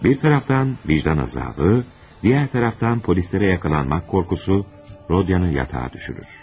Bir tərəfdən vicdan əzabı, digər tərəfdən polislərə yaxalanmaq qorxusu, Rodionu yatağa düşürür.